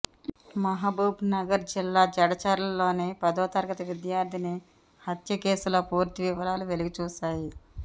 మహబూబ్నగర్ జిల్లా జడ్చర్లలో పదో తరగతి విద్యార్థిని హత్య కేసులో పూర్తి వివరాలు వెలుగుచూశాయి